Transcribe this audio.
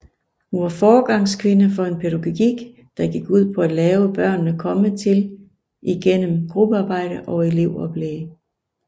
Hun var foregangskvinde for en pædagogik der gik ud på at lave børnene komme til igennem gruppearbejde og elevoplæg